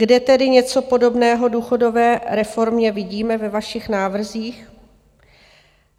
Kde tedy něco podobného důchodové reformě vidíme ve vašich návrzích?